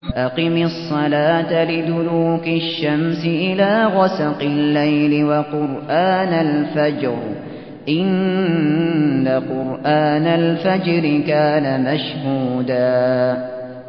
أَقِمِ الصَّلَاةَ لِدُلُوكِ الشَّمْسِ إِلَىٰ غَسَقِ اللَّيْلِ وَقُرْآنَ الْفَجْرِ ۖ إِنَّ قُرْآنَ الْفَجْرِ كَانَ مَشْهُودًا